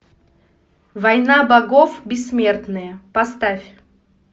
война богов бессмертные поставь